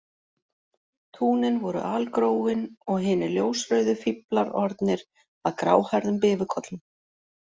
Túnin voru algróin og hinir ljósrauðu fíflar orðnir að gráhærðum bifukollum